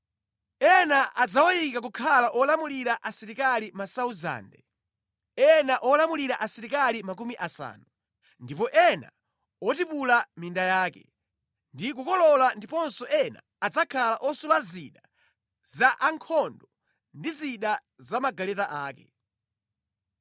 Ena adzawayika kukhala olamulira asilikali 1,000, ena olamulira asilikali makumi asanu, ndi ena otipula minda yake, ndi kukolola ndiponso ena adzakhala osula zida zankhondo ndi zida za magaleta ake.